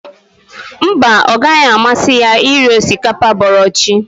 Mba, ọ gaghị amasị ya iri osikapa bọrọ chi